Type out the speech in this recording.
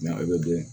a bɛ den